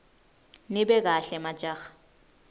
nibe kahle majaha